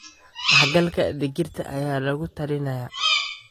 Dhexgalka digirta ayaa lagula talinayaa.